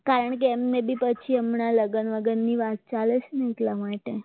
કારણ કે એમને બી પછી હમણાં લગ્નની વાત ચાલે છે ને એટલા માટે